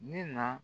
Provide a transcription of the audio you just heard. Ni na